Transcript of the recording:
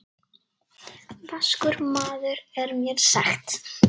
Vaskur maður er mér sagt.